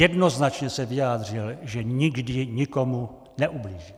Jednoznačně se vyjádřil, že nikdy nikomu neublížil.